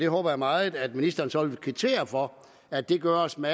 håber meget at ministeren så vil kvittere for at det gøres med